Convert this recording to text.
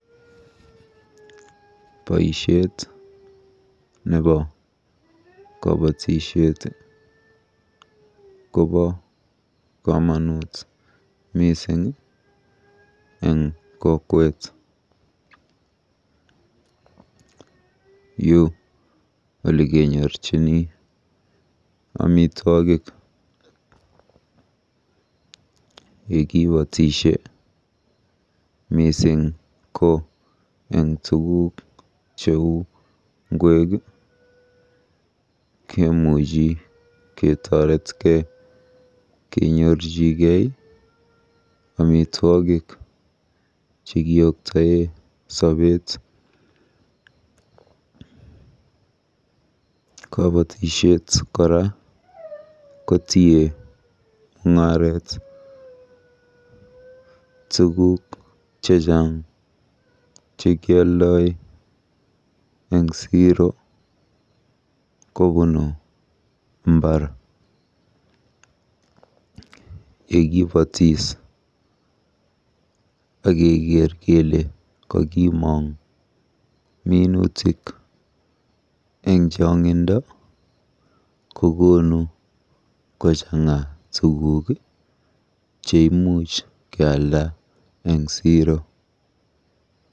Boisiet nebo kobotisiet kobo komonut mising eng kokwet. Yu olekenyorchini amitwogik. Yekibotisie, mising ko eng tuguk cheu ngwek kemuchi ketoretkei kenyoru omitwogik chekioktoe sobeet. Kaabotishet kora kotie mung'aret. Tuguk chechang chekioldoi eng siro kobunu mbar. Yekipotis akeker kele kokimong minutik eng chongindo kokonu kochang'a tuguk cheimuch kealda eng siro.